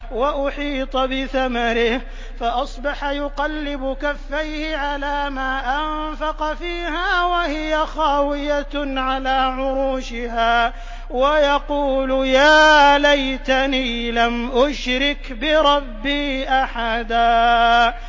وَأُحِيطَ بِثَمَرِهِ فَأَصْبَحَ يُقَلِّبُ كَفَّيْهِ عَلَىٰ مَا أَنفَقَ فِيهَا وَهِيَ خَاوِيَةٌ عَلَىٰ عُرُوشِهَا وَيَقُولُ يَا لَيْتَنِي لَمْ أُشْرِكْ بِرَبِّي أَحَدًا